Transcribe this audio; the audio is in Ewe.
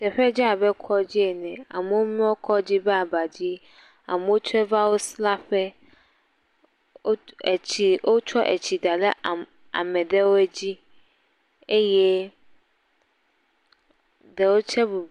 Teƒea dze abe kɔdzi ene, womlɔ kɔdzi ƒe aba dzi amewo tse wova wo sra ƒe. Wo, wotsɔ etsi da ɖe ame ɖewoe dzi eye ɖewoe tse bubunɔ.........